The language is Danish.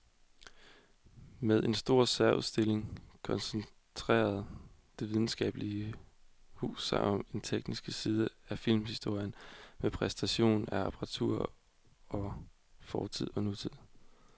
Med en stor særudstilling koncentrerer det videnskabelige hus sig om den tekniske side af filmhistorien med præsentation af apparatur fra fortid og nutid.